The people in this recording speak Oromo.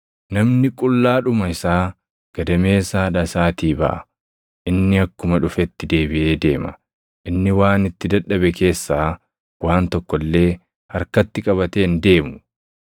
Namni qullaadhuma isaa gadameessa haadha isaatii baʼa; inni akkuma dhufetti deebiʼee deema. Inni waan itti dadhabe keessaa waan tokko illee harkatti qabatee hin deemu.